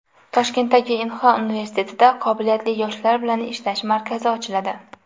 Toshkentdagi Inxa universitetida qobiliyatli yoshlar bilan ishlash markazi ochiladi.